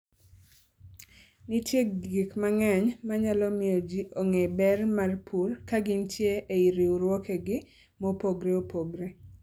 Nitie gik mang'eny manyalo miyo ji ong'e ber mar pur kagintie ei riwruokegi mopogre opogre.